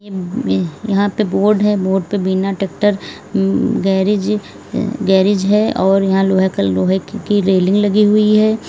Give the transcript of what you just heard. में यहां पे बोर्ड है। बोर्ड पे बिना ट्रैक्टर उम गैरेज गैरेज है और यहां लोहे का लोहे की रेलिंग लगी हुई है।